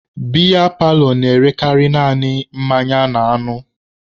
Biya paalọ na-erekarị naanị mmanya na anụ